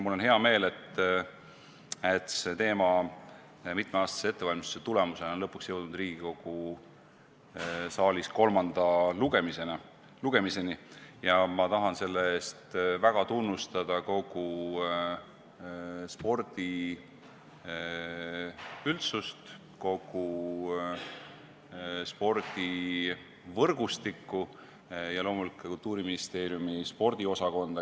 Mul on hea meel, et see teema on mitmeaastase ettevalmistuse tulemusena jõudnud lõpuks Riigikogu saalis kolmanda lugemiseni, ja ma tahan selle eest tunnustada kogu spordiüldsust, kogu spordivõrgustikku ja loomulikult Kultuuriministeeriumi spordiosakonda.